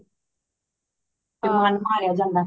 ਮਨ ਮਾਰਿਆ ਜਾਂਦਾ ਹੇ